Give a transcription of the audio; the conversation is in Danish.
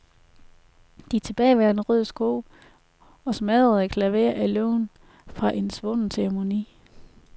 De tilbageværende røde sko og smadrede klaverer er levn fra en svunden ceremoni.